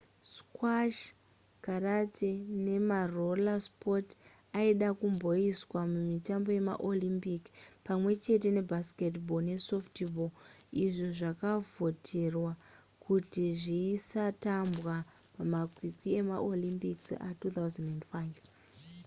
squash karate nemaroller sports aida kumboiswa mumitambo yemaolympic pamwe chete nebaseball nesoftball izvo zvakavhoterwa kuti zvisatambwa pamakwikwi emaolympic a2005